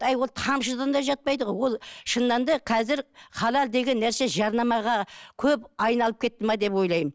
әй ол тамшыдан да жатпайды ғой ол шынында да қазір халал деген нәрсе жарнамаға көп айналып кетті ме деп ойлаймын